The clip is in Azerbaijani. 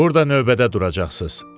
Burada növbədə duracaqsınız.